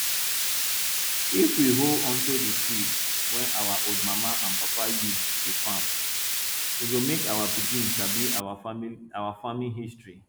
if we hold onto di seed wey our old mama and papa use dey farm e go make our pikin sabi our farming history